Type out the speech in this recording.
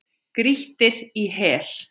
Grýttir í hel.